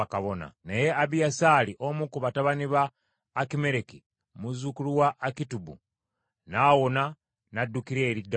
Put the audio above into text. Naye Abiyasaali omu ku batabani ba Akimereki, muzzukulu wa Akitubu n’awona n’addukira eri Dawudi.